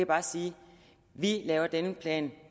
bare sige vi laver denne plan